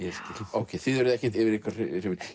ókei þið eruð ekki yfir ykkur hrifin